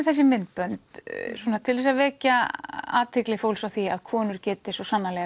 þessi myndbönd til þess að vekja athygli fólks á því að konur geti svo sannarlega